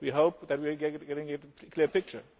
to happen today and tomorrow. We hope that